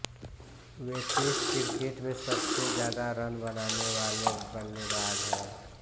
वे test cricket में सबसे ज़्यादा रन बनाने वाले बल्लेबाज़ हैं